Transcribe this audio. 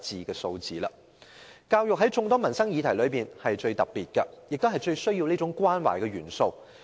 教育在眾多的民生議題中是最特別的，最需要這種關懷。